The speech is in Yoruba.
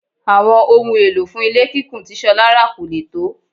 Àwọn ohun èlò fún ilé kíkùn tí Ṣọlá rà kò lè tó.